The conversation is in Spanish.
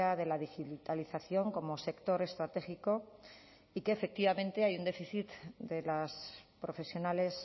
de la digitalización como sector estratégico y que efectivamente hay un déficit de las profesionales